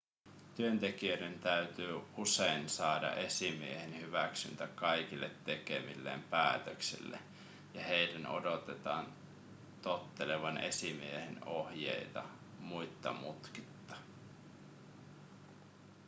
työntekijöiden täytyy usein saada esimiehen hyväksyntä kaikille tekemilleen päätöksille ja heidän odotetaan tottelevan esimiehen ohjeita muitta mutkitta